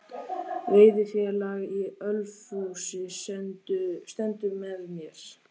Veiðifélag í Ölfusi stendur með mér